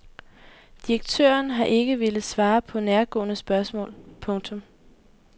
Direktøren har ikke villet svare på nærgående spørgsmål. punktum